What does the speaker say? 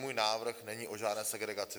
Můj návrh není o žádné segregaci.